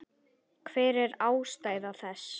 Hver er ástæða þess?